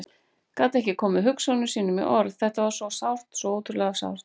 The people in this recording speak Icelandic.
Gat ekki komið hugsunum sínum í orð, þetta var svo sárt, svo ótrúlega sárt.